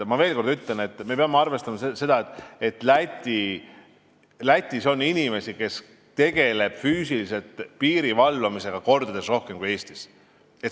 Ma veel kord ütlen, me peame arvestama, et Lätis on inimesi, kes tegelevad füüsiliselt piiri valvamisega, mitu korda rohkem kui Eestis.